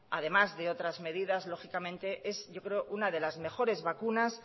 además de otras medidas lógicamente es una de las mejores vacunas